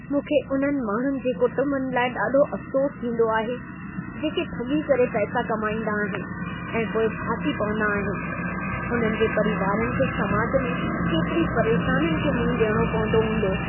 मूंखे उन्हनि माण्हुनि जे कुटुंबनि लाइ ॾाढो अफ़सोस थींदो आहे, जेके ठॻी करे पैसा कमाईंदा आहिनि ऐं पोइ फासी पवंदा आहिनि। उन्हनि जे परीवारनि खे समाज में केतिरी परेशानियुनि खे मुंहुं डि॒यणो पवंदो हूंदो।